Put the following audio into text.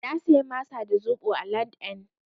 Na saya masa da zaɓo a LandN.